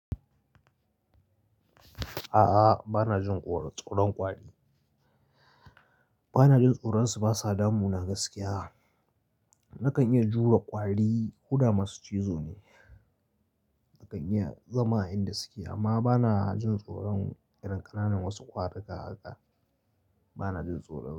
A'a, bana jin tsoron kwari. Bana jin tsoron su, basa damuna gaskiya. Nakan iya jure kwari, ko da masu cizo ne. Nakan iya zama a inda suke amma bana jin tsoron irin ƙananan wasu ƙwarikaa haka. Bana jin tsoron su.